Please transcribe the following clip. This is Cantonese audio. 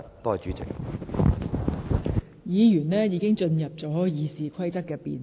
議員的發言已開始涉及《議事規則》的討論。